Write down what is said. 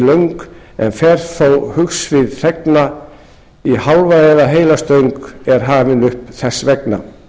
löng en fer þó hugsvið þegna í hálfa eða heila stöng er hafinn upp þess vegna